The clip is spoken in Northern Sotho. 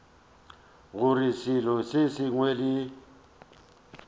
gore selo se sengwe le